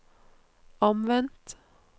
omvendt